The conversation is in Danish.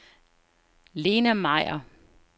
Lena Meyer